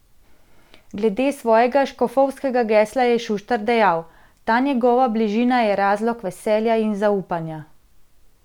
Glede svojega škofovskega gesla je Šuštar dejal: "Ta njegova bližina je razlog veselja in zaupanja.